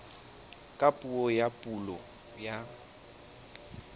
ka puo ya pulo ya